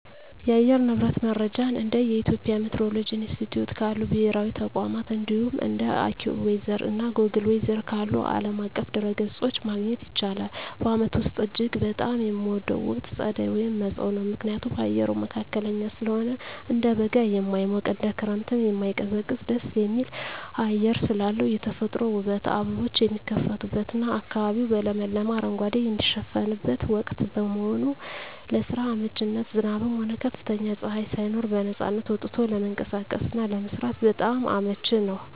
የአየር ንብረት መረጃን እንደ የኢትዮጵያ ሚቲዎሮሎጂ ኢንስቲትዩት ካሉ ብሔራዊ ተቋማት፣ እንዲሁም እንደ AccuWeather እና Google Weather ካሉ ዓለም አቀፍ ድረ-ገጾች ማግኘት ይቻላል። በዓመቱ ውስጥ እጅግ በጣም የምወደው ወቅት ጸደይ (መጸው) ነው። ምክንያቱም፦ አየሩ መካከለኛ ስለሆነ፦ እንደ በጋ የማይሞቅ፣ እንደ ክረምትም የማይቀዘቅዝ ደስ የሚል አየር ስላለው። የተፈጥሮ ውበት፦ አበቦች የሚፈኩበትና አካባቢው በለመለመ አረንጓዴ የሚሸፈንበት ወቅት በመሆኑ። ለስራ አመቺነት፦ ዝናብም ሆነ ከፍተኛ ፀሐይ ሳይኖር በነፃነት ወጥቶ ለመንቀሳቀስና ለመስራት በጣም አመቺ ነው።